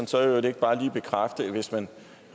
så i øvrigt ikke bare lige bekræfte at hvis man